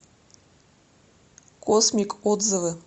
космик отзывы